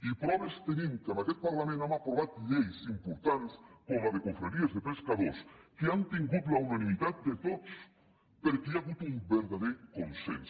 i proves tenim que en aquest parlament hem aprovat lleis importants com la de confraries de pescadors que han tingut la unanimitat de tots perquè hi ha hagut un vertader consens